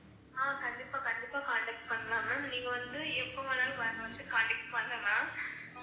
ஆஹ் கண்டிப்பா கண்டிப்பா contact பண்ணலாம் ma'am நீங்க வந்து எப்ப வேணாலும் வரதுக்கு வந்து contact பண்ணலாம்